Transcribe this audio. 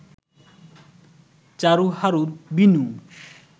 Charu Haru Binu